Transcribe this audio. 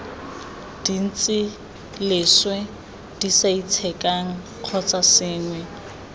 dintsi leswe disaitshekang kgotsa sengwe